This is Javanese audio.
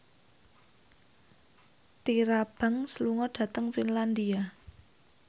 Tyra Banks lunga dhateng Finlandia